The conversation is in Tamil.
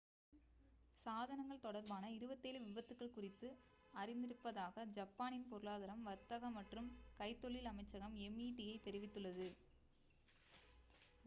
சாதனங்கள் தொடர்பான 27 விபத்துக்கள் குறித்து அறிந்திருப்பதாக ஜப்பானின் பொருளாதாரம் வர்த்தக மற்றும் கைத்தொழில் அமைச்சகம் meti தெரிவித்துள்ளது